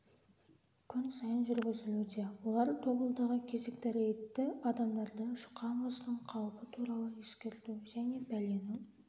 күн сайын жүргізілуде олар тобылдағы кезекті рейдті адамдарды жұқа мұздың қаупі туралы ескерту және бәленің